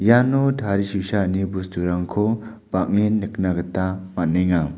iano tarisusaani bosturangko bang·en nikna gita man·enga.